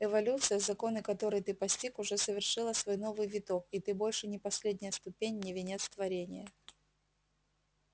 эволюция законы которой ты постиг уже совершила свой новый виток и ты больше не последняя ступень не венец творенья